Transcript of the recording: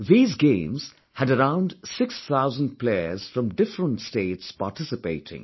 These games had around 6 thousand players from different states participating